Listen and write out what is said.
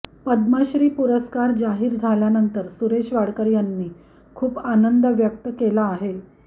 पद्मश्री पुरस्कार जाहीर झाल्यानंतर सुरेश वाडकर यांनी खूप आनंद व्यक्त केला आहे